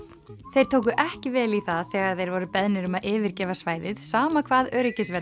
þeir tóku ekki vel í það þegar þeir voru beðnir um að yfirgefa svæðið sama hvað